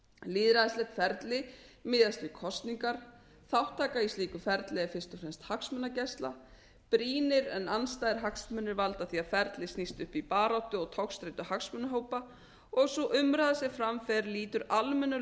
lýðræðislegt ferli miðast við kosningar þátttaka í slíku ferli er fyrst og fremst hagsmunagæsla brýnir en andstæðir hagsmunir valda því að ferlið snýst upp í baráttu og togstreitu hagsmunahópa og sú umræða sem fram fer lýtur almennum